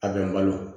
A bɛ n balo